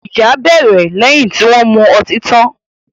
Ìjà bẹ́lẹ̀ lẹ́yìn tí wọn mu ọtí tan